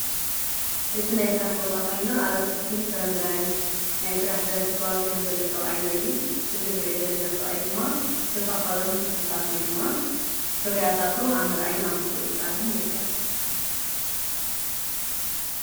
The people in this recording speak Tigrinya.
እዝ ናይ ሥራሕ ቦታ ኾይኖ ኣበት ክልትን ፍረምረን ናይ ሥራሕ ዘርፊ እተዋፊሩ ዘለ ሰብኣይን ርኢ እዚ ንርኢ ዘለና ሰብኣይ ድማ ተውታኾሎም ተኽልታት ወይ ድማ ፍርያታቱ ኣምርኣይን ኣምቈፅጻርን ይርከን።